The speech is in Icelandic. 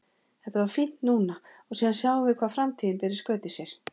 Þetta var fínt núna og síðan sjáum við hvað framtíðin ber í skauti sér.